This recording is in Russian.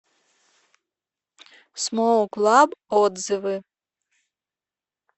смоук лаб отзывы